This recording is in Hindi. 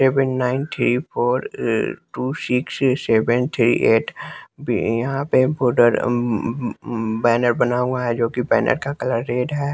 Seven ninety four two six seventy eight यहां पे बॉर्डर अं बैनर बना हुआ है जोकि बैनर का कलर रेड है।